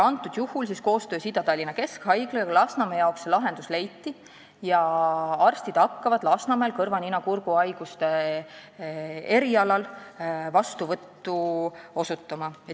Antud juhul koostöös Ida-Tallinna Keskhaiglaga Lasnamäe jaoks lahendus leiti: arstidel hakkavad Lasnamäel kõrva-nina-kurguhaiguste erialal vastuvõtud olema.